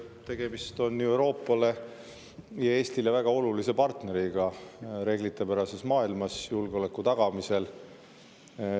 Tegemist on ju Euroopale ja Eestile väga olulise partneriga reeglipärases maailmas julgeoleku tagamisel.